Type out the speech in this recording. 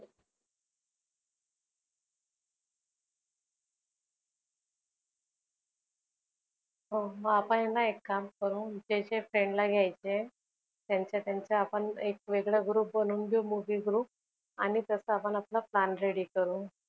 हो आपण आहेना एक काम करू जे जे friend ला घ्यायचे आहे त्यांच्या त्यांचा एक वेगळा group बनवून घेऊ आणि तस आपण आपला plan ready करू.